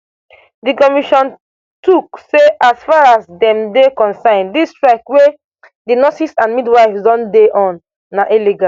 di commission tok say as far as dem dey concerned dis strike wey di nurses and midwives don dey on na illegal